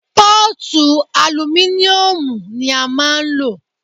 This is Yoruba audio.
Pọ́ọ̀tu alumíníùmù ní a máà ń lò.